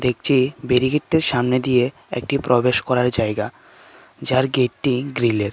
নীচে বেরিগেট টির সামনে দিয়ে একটি প্রবেশ করার জায়গা যার গেট টি গ্রিল এর।